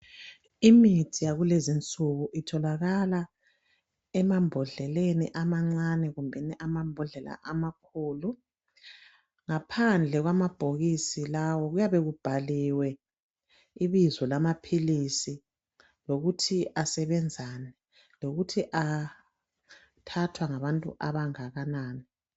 Imithi yakulezi insuku itholakala emambodleleni amancani kumbeni amambodleleni amakhulu ngaphandle kwamabhokisi lawo kuyabe kubhaliwe ibizo lamapills lokuthi asebenzani kokuthi athathwa ngabantu abangakanani